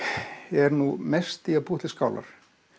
er nú mest í að búa til skálar